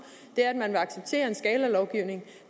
er at man vil acceptere en skalalovgivning